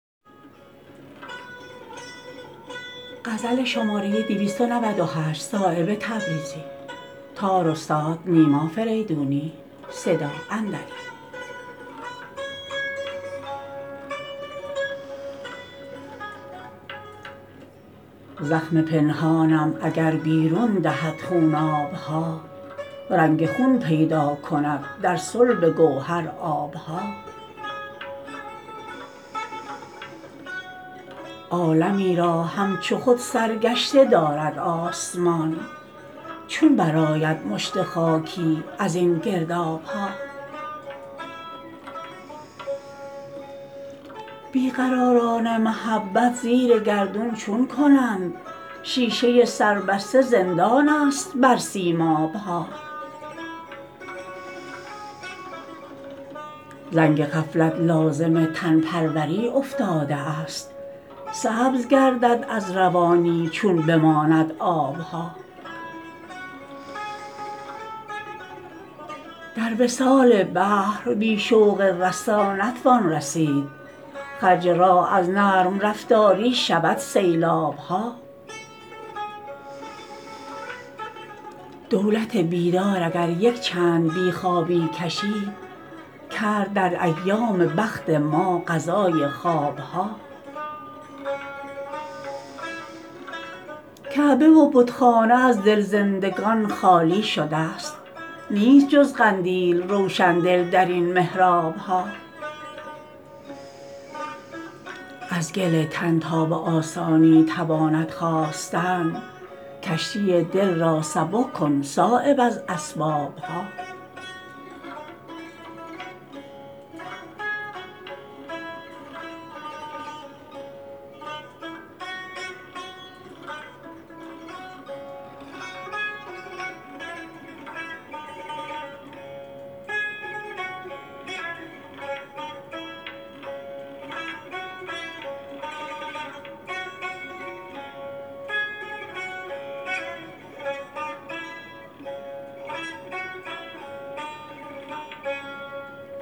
زخم پنهانم اگر بیرون دهد خوناب ها رنگ خون پیدا کند در صلب گوهر آب ها عالمی را همچو خود سرگشته دارد آسمان چون برآید مشت خاشاکی ازین گرداب ها بی قراران محبت زیر گردون چون کنند شیشه سربسته زندان است بر سیماب ها زنگ غفلت لازم تن پروری افتاده است سبز گردد از روانی چون بماند آب ها در وصال بحر بی شوق رسا نتوان رسید خرج راه از نرم رفتاری شود سیلاب ها دولت بیدار اگر یک چند بی خوابی کشید کرد در ایام بخت ما قضای خواب ها کعبه و بتخانه از دل زندگان خالی شده است نیست جز قندیل روشندل درین محراب ها از گل تن تا به آسانی تواند خاستن کشتی دل را سبک کن صایب از اسباب ها